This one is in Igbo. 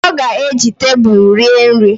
Ọ ga-eji tebulu rie nri